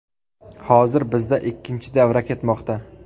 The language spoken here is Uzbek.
Hozir bizda ikkinchi davra ketmoqda.